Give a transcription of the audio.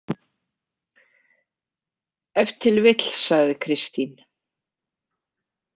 Ef til vill, sagði Kristín.